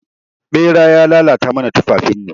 Ɓera ya lalata mana tufafin mu.